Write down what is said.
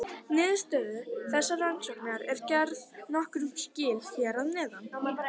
Niðurstöðum þessara rannsókna er gerð nokkur skil hér að neðan.